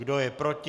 Kdo je proti?